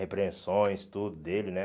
Repreensões, tudo dele, né?